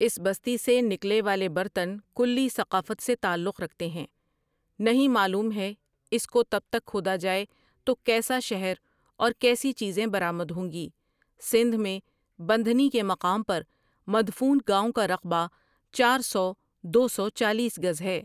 اس بستی سے نکلے والے برتن کلی ثقافت سے تعلق رکھتے ہیں نہیں معلوم ہے اس کو تب تک کھودا جائے تو کیسا شہر اور کیسی چیزیں برآمد ہوں گی سندھ میں بندھنی کے مقام پر مدفون گاؤں کا رقبہ چار سو دو سو چالیس گز ہے ۔